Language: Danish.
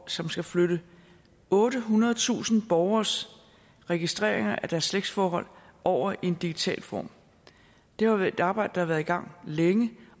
som skal flytte ottehundredetusind borgeres registreringer af deres slægtsforhold over i en digital form det er et arbejde der har været i gang længe